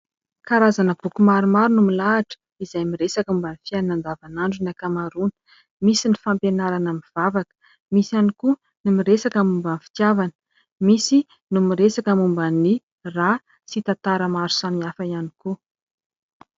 Karazana boky maromaro no milahatra izay miresaka momba ny fiainana andavanandro ny ankamaroana. Misy ny fampianarana mivavaka, misy ihany koa no miresaka momba ny fitiavana, misy no miresaka momba ny rà sy tantara maro samihafa ihany koa.